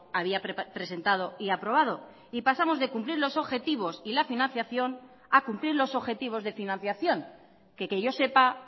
había presentado y aprobado y pasamos de cumplir los objetivos y la financiación a cumplir los objetivos de financiación que que yo sepa